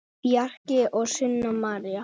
Bjarki og Sunna María.